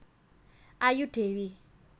Ayu Dewi